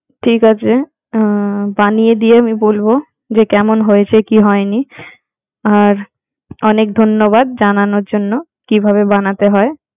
ঠিক আছে আহ বানিয়ে দিয়ে বলবো যে কেমন হয়েছে কি হয়নি আর, অনেক ধন্যবাদ জানানোর জন্য কিভাবে বানাতে হয়।